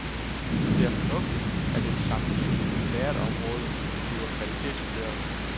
Det er fornuftigt, at et sammenligneligt teaterområde bliver kvalitetsvurderet.